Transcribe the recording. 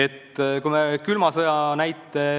Toon näiteks külma sõja.